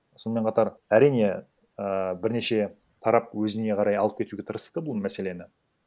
сонымен қатар әрине ііі бірнеше тарап өзіне қарай алып кетуге тырысты бұл мәселені